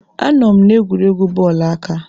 Anọ m n'egwuregwu bọọlụ aka.